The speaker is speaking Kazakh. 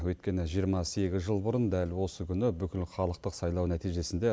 өйткені жиырма сегіз жыл бұрын дәл осы күні бүкілхалықтық сайлау нәтижесінде